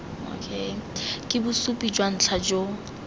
ke bosupi jwa ntlha jo